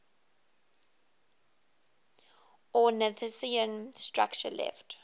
ornithischian structure left